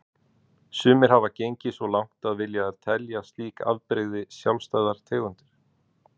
Sumir hafa gengið svo langt að vilja telja slík afbrigði sjálfstæðar tegundir.